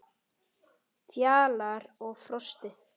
Fjalar og Frosti